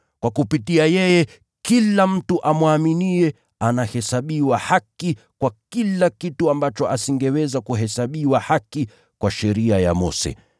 Kwa kupitia yeye, kila mtu amwaminiye anahesabiwa haki kwa kila kitu ambacho asingeweza kuhesabiwa haki kwa sheria ya Mose.